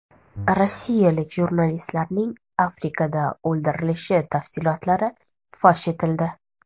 Rossiyalik jurnalistlarning Afrikada o‘ldirilishi tafsilotlari fosh etildi.